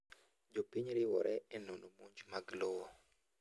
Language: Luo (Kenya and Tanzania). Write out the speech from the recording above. Jopiny riwore enono monj mag lowo.